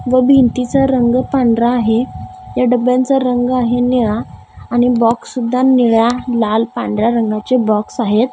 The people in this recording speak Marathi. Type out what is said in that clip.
व भिंतीचा रंग पांढरा आहे या डब्ब्यांचा रंग आहे निळा आणि बॉक्स सुद्धा निळ्या लाल पांढऱ्या रंगाचे बॉक्स आहेत.